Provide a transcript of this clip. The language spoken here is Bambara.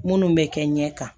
Minnu bɛ kɛ ɲɛ kan